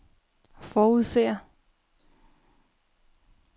forudser